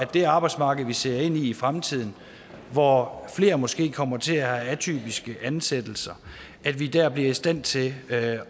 det arbejdsmarked vi ser ind i i fremtiden hvor flere måske kommer til at have atypiske ansættelser bliver i stand til at